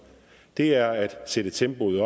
det er at sætte tempoet